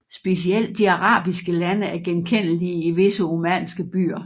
Specielt de arabiske lande er genkendelige i visse omanske byer